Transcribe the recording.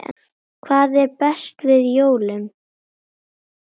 Hvað er best við jólin?